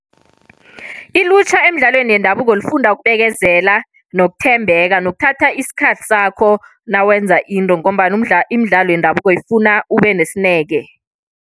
Ilutjha emidlalweni yendabuko lifunda ukubekezela, nokuthembeka nokuthatha isikhathi sakho nawenza into. Ngombana umdlalo imidlalo yendabuko ifuna ube nesineke.